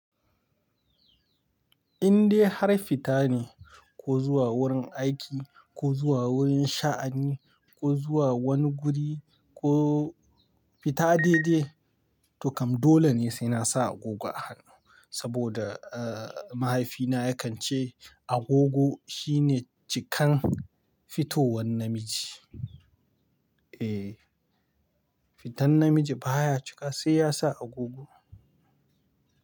Indai har fita ne, ko zuwa wurin aiki, ko zuwa wurin sha'ani, ko zuwa wani guri, ko fita daidai, to kam dole ne sai na sa agogo a hannu. Saboda, mahaifina yakan ce agogo shine cikan fitowan namiji. Eh, fitan namiji baya cika sai ya sa agogo.